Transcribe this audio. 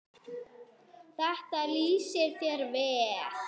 Þetta lýsir þér vel.